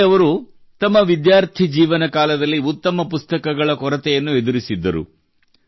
ಸಂಜಯ್ ಅವರು ತಮ್ಮ ವಿದ್ಯಾರ್ಥಿ ಜೀವನಕಾಲದಲ್ಲಿ ಉತ್ತಮ ಪುಸ್ತಕಗಳ ಕೊರತೆಯನ್ನು ಎದುರಿಸಿದ್ದರು